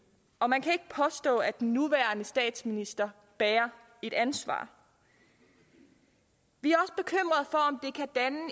og man kan ikke påstå at den nuværende statsminister bærer et ansvar vi